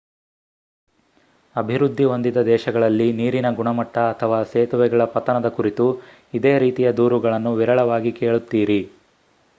ಅಭಿವೃದ್ಧಿ ಹೊಂದಿದ ದೇಶಗಳಲ್ಲಿ ನೀರಿನ ಗುಣಮಟ್ಟ ಅಥವಾ ಸೇತುವೆಗಳ ಪತನದ ಕುರಿತು ಇದೇ ರೀತಿಯ ದೂರುಗಳನ್ನು ವಿರಳವಾಗಿ ಕೇಳುತ್ತೀರಿ